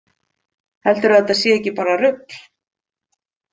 Heldurðu að þetta sé ekki bara rugl?